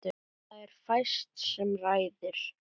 Það er fæst sem ræður.